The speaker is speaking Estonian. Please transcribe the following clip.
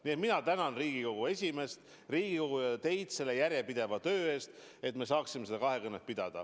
Nii et mina tänan Riigikogu esimeest, Riigikogu ja teid selle järjepideva töö eest, et me saaksime seda kahekõnet pidada.